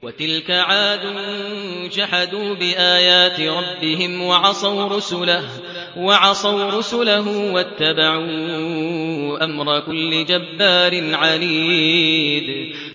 وَتِلْكَ عَادٌ ۖ جَحَدُوا بِآيَاتِ رَبِّهِمْ وَعَصَوْا رُسُلَهُ وَاتَّبَعُوا أَمْرَ كُلِّ جَبَّارٍ عَنِيدٍ